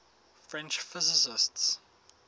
french physicists